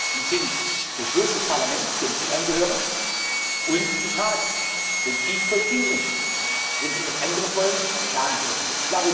Dies ist Beschluss des Parlaments, dem Sie angehören, und des Rats, und ich vollziehe ihn. Wenn Sie etwas anderes wollen, sagen Sie es mir.